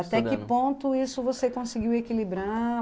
Até que ponto isso você conseguiu equilibrar?